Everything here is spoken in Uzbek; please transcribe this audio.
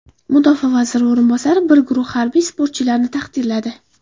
Mudofaa vaziri o‘rinbosari bir guruh harbiy sportchilarni taqdirladi.